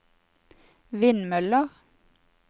vindmøller